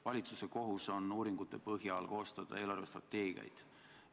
Valitsuse kohus on uuringute põhjal koostada eelarvestrateegiaid.